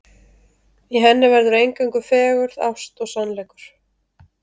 Í henni verður eingöngu fegurð, ást og sannleikur.